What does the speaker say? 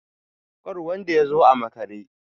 kar wanda ya zo a makare!